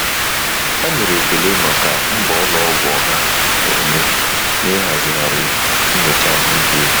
Ha nyere ekele maka mbọ ụlọ ọgwụ ọha na-eme n'ịhazigharị nyocha ahụike efu.